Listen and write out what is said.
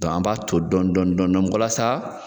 an b'a ton dɔɔni dɔɔni dɔɔni la sa